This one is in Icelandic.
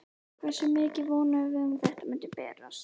Hversu mikið vonuðum við að þetta myndi breytast?